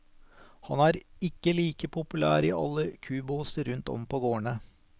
Han er ikke like populær i alle kubåser rundt om på gårdene.